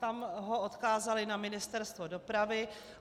Tam ho odkázali na Ministerstvo dopravy.